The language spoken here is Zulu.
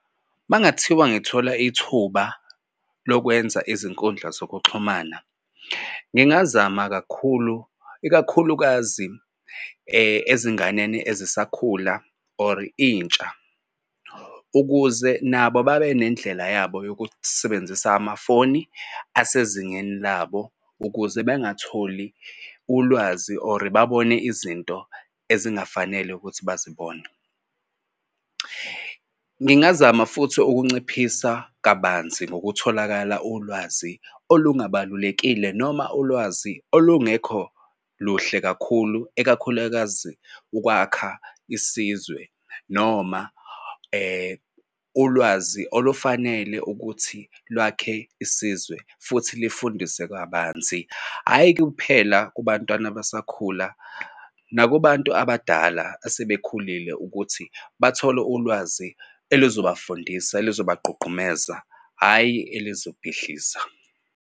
Uma ngathiwa ngithola ithuba lokwenza izinkundla zokuxhumana ngingazama kakhulu ikakhulukazi ezinganeni ezisakhula or intsha, ukuze nabo babe nendlela yabo yokusebenzisa amafoni asezingeni labo ukuze bengatholi ulwazi or babone izinto ezingafanele ukuthi bazibone. Ngingazama futhi ukunciphisa kabanzi ngokutholakala ulwazi olungabalulekile noma ulwazi olungekho luhle kakhulu ikakhulukazi ukwakha isizwe. Noma ulwazi olufanele ukuthi lwakhe isizwe futhi lifundise kabanzi, hhayi kuphela kubantwana basakhula nakubantu abadala esebekhulile ukuthi bathole ulwazi elizobafundisa elizobagqugqumeza hhayi elizobhidliza.